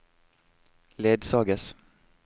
ledsages